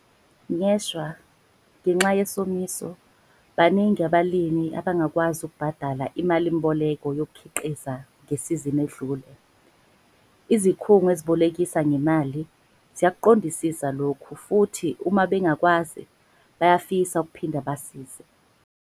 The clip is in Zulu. Ngeshwa, ngenxa yesomiso, baningi abalimi abangakwazi ukubhadala imalimboleko yokukhiqiza ngesizini edlule. Izikhungo ezibolekisa ngemali ziyakuqondisisa lokhu futhi uma bengakwazi, bayafisa ukuphinda basize.